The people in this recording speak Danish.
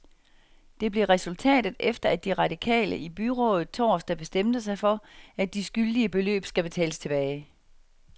Det blev resultatet, efter at de radikale i byrådet torsdag bestemte sig for, at de skyldige beløb skal betales tilbage.